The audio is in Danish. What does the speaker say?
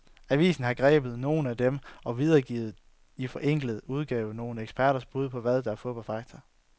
Avisen har grebet nogle af dem, og videregiver i forenklet udgave nogle eksperters bud på, hvad der er fup og fakta.